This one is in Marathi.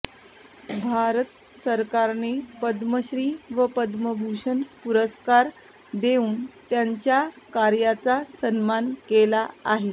भारत सरकारने पद्मश्री व पद्मभूषण पुरस्कार देऊन त्यांच्या कार्याचा सन्मान केला आहे